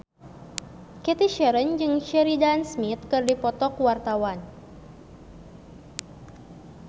Cathy Sharon jeung Sheridan Smith keur dipoto ku wartawan